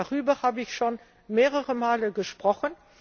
Darüber habe ich schon mehrere Male gesprochen.